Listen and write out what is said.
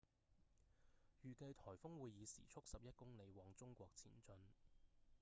預計颱風會以時速11公里往中國前進